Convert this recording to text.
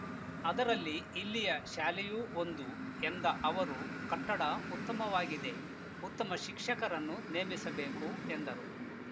ಅದರಲ್ಲಿ ಇಲ್ಲಿಯ ಶಾಲೆಯೂ ಒಂದು ಎಂದ ಅವರು ಕಟ್ಟಡ ಉತ್ತಮವಾಗಿದೆ ಉತ್ತಮ ಶಿಕ್ಷಕರನ್ನು ನೇಮಿಸಬೇಕು ಎಂದರು